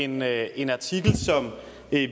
med en artikel som